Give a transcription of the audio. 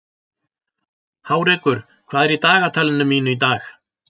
Hárekur, hvað er í dagatalinu mínu í dag?